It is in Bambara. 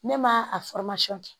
Ne ma a kɛ